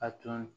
A tun